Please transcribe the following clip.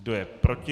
Kdo je proti?